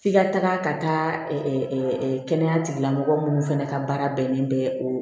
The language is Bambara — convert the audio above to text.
F'i ka taga ka taa kɛnɛya tigilamɔgɔ minnu fana ka baara bɛnnen bɛ o